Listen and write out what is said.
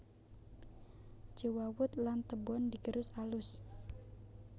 Jewawut lan tebon digerus alus